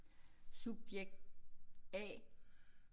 Subjekt A